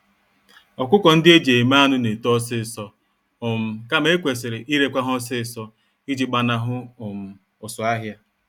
Ọkụkọ-ndị-eji-eme-anụ N'eto ọsịsọ, um kama ekwesịrị irekwa ha ọsịsọ iji gbanahụ um ụsụ-ahịa.